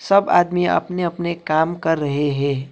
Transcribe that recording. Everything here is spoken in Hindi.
सब आदमी अपने अपने काम कर रहे हैं।